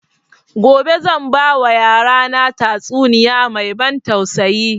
Gobe zan ba wa yara na tatsuniya mai ban tausayi